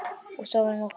Og svo var um okkur.